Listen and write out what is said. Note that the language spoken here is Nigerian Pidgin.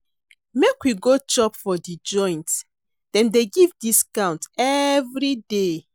Make we go chop for di joint, dem dey give discount everyday.